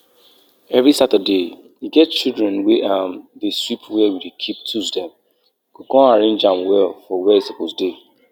e breeze strong breeze breeze strong breeze wey blow last week wey comot all our yam stake and tear the small small yam leaf.